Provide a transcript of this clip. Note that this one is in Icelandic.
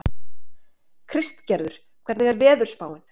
Kristgerður, hvernig er veðurspáin?